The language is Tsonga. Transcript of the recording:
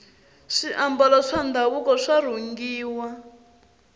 swiambalo swa ndhavuko swa rhungiwa